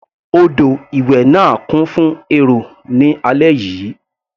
Odò ìwẹ̀ náà kún fún èrò ní alẹ́ yìí.